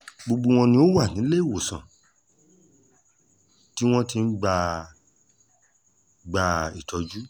gbogbo wọn ni wọ́n wà níléemọ̀sán tí wọ́n ti ń gba gba ìtọ́jú